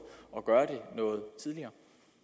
at gøre det noget tidligere